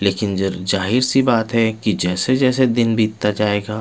लेकिन जब झाहिर सी बात है की जैसे जैसे दिन बीतता जायेगा --